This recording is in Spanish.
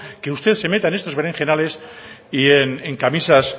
que usted se meta en estos berenjenales y